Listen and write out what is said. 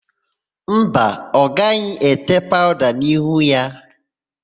Mba, ọ gaghị ete paụda n'ihu ya.